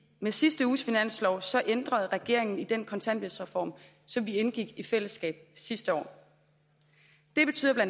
med sidste uges finanslov ændrede regeringen i den kontanthjælpsreform som vi indgik i fællesskab sidste år det betyder bla